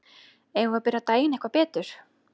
Eigum við að byrja daginn eitthvað betur?